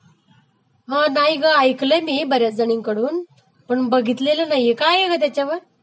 हा नाही ग, ऐकलयं मी बऱ्याच जणींकडून पण बघितलेलं नाही, काय आहे ग त्याच्यावर